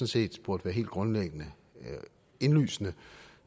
set burde være helt grundlæggende og indlysende